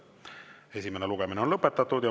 Esimene lugemine on lõpetatud.